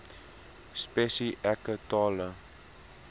spesi eke tale